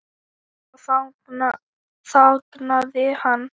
Svo þagnaði hann.